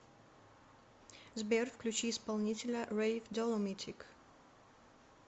сбер включи исполнителя рэйв доломитик